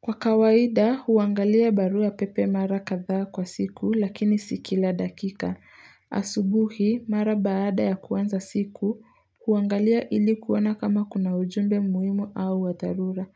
Kwa kawaida, huangalia barua pepe mara kadhaa kwa siku lakini si kila dakika. Asubuhi, mara baada ya kuanza siku, huangalia ili kuona kama kuna ujumbe muhimu au wa dharura.